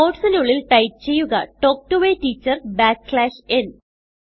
quotesനുള്ളിൽ ടൈപ്പ് ചെയ്യുക talk to a teacher backslash n ന്